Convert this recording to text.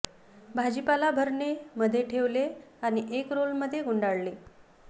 भाजीपाला भरणे मध्ये ठेवले आणि एक रोल मध्ये गुंडाळणे